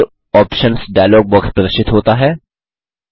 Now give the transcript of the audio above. effects options dialog box प्रदर्शित होता है